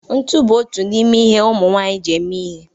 ntụ bụ otu n'ime ihe ụmụ nwanyị ji eme ihe